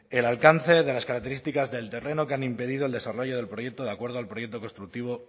el alcance de las características del terreno que han impedido el desarrollo del proyecto de acuerdo al proyecto constructivo